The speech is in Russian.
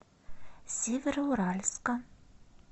североуральска